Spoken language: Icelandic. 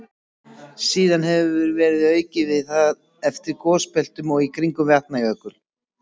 Síðan hefur verið aukið við það eftir gosbeltunum og í kringum Vatnajökul.